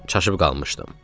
Çaşıb qalmışdım.